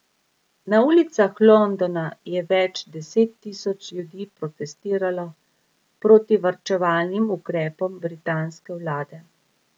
Na ulicah Londona je več deset tisoč ljudi protestiralo proti varčevalnim ukrepom britanske vlade.